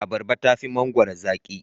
Abarba tafi mangwaro zaki.